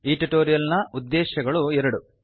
ಈ ಟ್ಯುಟೋರಿಯಲ್ ನ ಉದ್ದೇಶ್ಯಗಳು ಎರಡು